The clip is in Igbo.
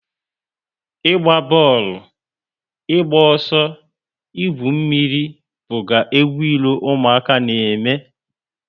Ịgba booolu, ịgba ọsọ, igwu mmírí buga egwu ilo ụmụaka na eme